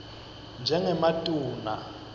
njengematuna